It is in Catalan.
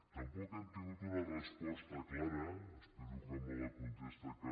tampoc hem tingut una resposta clara espero que amb la contesta que